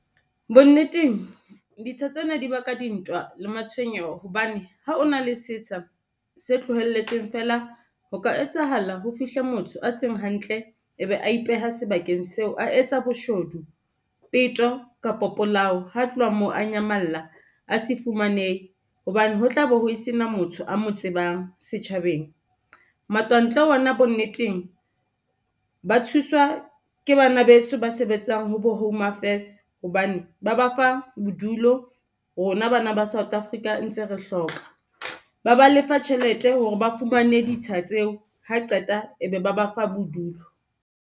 Bonneteng ditsha tsena di ba ka dintwa le matshwenyeho hobane ha o na le setsha se tlohelletsweng feela, ho ka etsahala ho fihle motho a seng hantle ebe a ipeha sebakeng seo, a etsa boshodu, peto kapo polao. Ha tloha moo a nyamalla a se fumanehe hobane ho tlabe ho sena motho a mo tsebang setjhabeng. Matswantle ona bonneteng, ba thuswa ke bana beso ba sebetsang ho bo Home Affairs hobane ba ba fa bodulo rona bana ba South Africa ntse re hloka ba ba lefa tjhelete hore ba fumane ditsha tseo ha qeta e be ba ba fa bodulo.